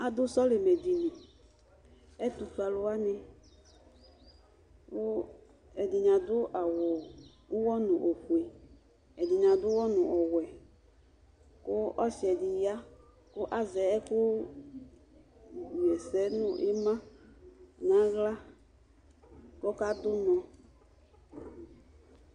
Adu sɔlimɛ dìní, ɛtʋfʋe wani kʋ ɛdiní adu awu ʋwɔ nu ɔfʋe Ɛdiní ʋwɔ nu ɔwɛ kʋ ɔsi di ya kʋ azɛ ɛku ɣɛsɛ nʋ ima kʋ ɔkadu ʋnɔ